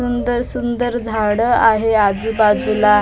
सुंदर-सुंदर झाडं आहे आजूबाजूला.